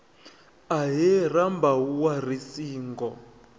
ahee rambau wa ri singo